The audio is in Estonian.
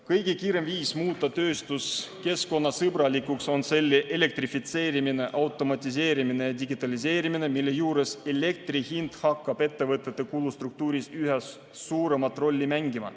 Kõige kiirem viis muuta tööstus keskkonnasõbralikuks on selle elektrifitseerimine, automatiseerimine ja digitaliseerimine, mille juures elektri hind hakkab ettevõtete kulustruktuuris üha suuremat rolli mängima.